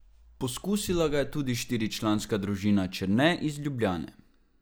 Pokusila ga je tudi štiričlanska družina Černe iz Ljubljane.